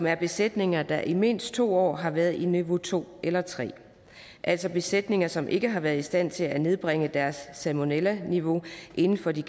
er i besætninger der i mindst to år har været placeret i niveau to eller tre altså besætninger som ikke har været i stand til at nedbringe deres salmonellaniveau inden for de